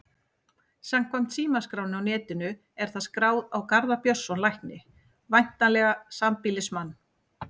Samkvæmt símaskránni á netinu er það skráð á Garðar Björnsson lækni, væntanlega sambýlismann